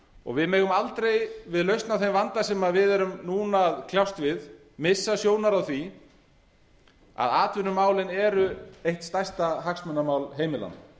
og við megum aldrei við lausn á þeim vanda sem við erum núna að kljást við missa sjónar á því að atvinnumálin eru eitt stærsta hagsmunamál heimilanna